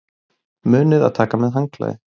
Munið að taka með handklæði!